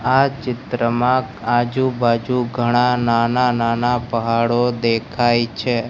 આ ચિત્રમાં આજુ બાજુ ઘણા નાના નાના પહાડો દેખાય છે.